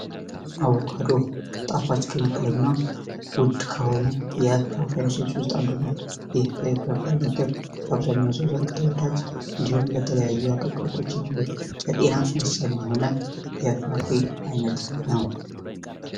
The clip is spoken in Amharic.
አቮካዶ ጣፋጭ ከሚባሉና ውድ ከሆኑ የፍራፍሬ ጁሶች ውስጥ አንዱ ነው። ይህ የፍራፍሬ አይነትም በአብዛኛው ሰው ዘንድ ተወዳጅ እንዲሁም ለተለያዩ አገልግሎቶች የሚውሉ ለጤና ወሳኝ የሆነ የፍራፍሬ አይነት ነው።